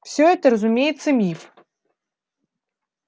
все это разумеется миф